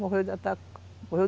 Morreu de ataque.